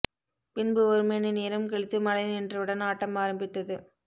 பின்பு ஒரு மணி நேரம் கழித்து மழை நின்றவுடன் ஆட்டம் ஆரம்பித்தது